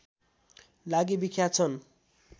लागि विख्यात छन्